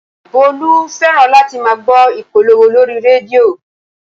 Bólú fẹ́ràn láti máa gbọ́ ìpolówó lórí rédíò